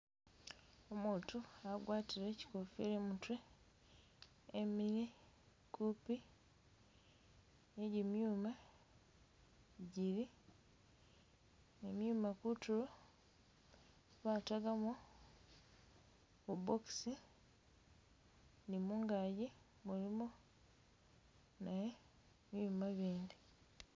Umutu, agwatile kikofila i'mutwe emile kupi ni gimyuma gili ne myuma kutulo batagamo bu box ni mungagi mulimu ni byuma bindi.